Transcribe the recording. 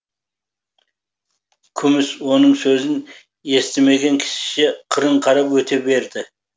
күміс оның сөзін естімеген кісіше қырын қарап өте берді